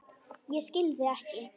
Ég skil þig ekki.